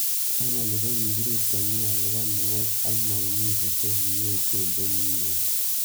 Eng oli ko kikirip komie akopo mook ak maumivu che kiechen che kinyor.